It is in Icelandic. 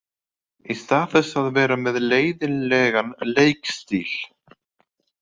Í stað þess að vera með leiðinlegan leikstíl.